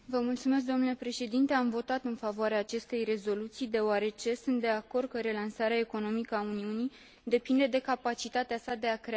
Am votat în favoarea acestei rezoluții, deoarece sunt de acord că relansarea economică a Uniunii depinde de capacitatea sa de a crea locuri de muncă.